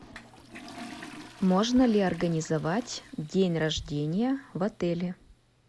можно ли организовать день рождения в отеле